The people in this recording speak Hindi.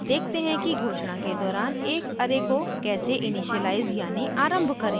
अब देखते हैं कि घोषणा के दौरान एक array को कैसे इनिशियलाइज़ यानी आरम्भ करें